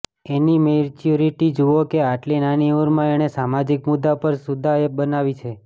એની maturity જુઓ કે આટલી નાની ઉંમરમાં એણે સામાજિક મુદ્દા પર સુદ્ધાં એપ બનાવી છે